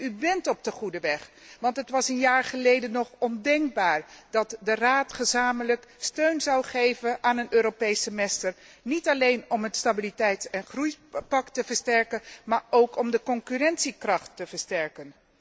U bent op de goede weg, want het was een jaar geleden nog ondenkbaar dat de Raad gezamenlijk steun zou geven aan een Europees semester, niet alleen om het Stabiliteits en groeipact te versterken, maar ook om de concurrentiekracht te versterken.